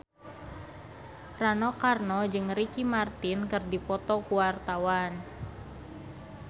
Rano Karno jeung Ricky Martin keur dipoto ku wartawan